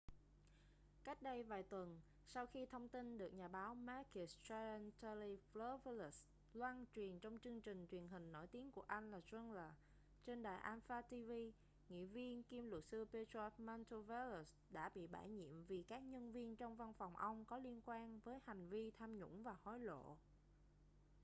cách đây vài tuần sau khi thông tin được nhà báo makis triantafylopoulos loan truyền trong chương trình truyền hình nổi tiếng của anh là zoungla trên đài alpha tv nghị viên kiêm luật sư petros mantouvalos đã bị bãi nhiệm vì các nhân viên trong văn phòng ông có liên quan với hành vi tham nhũng và hối lộ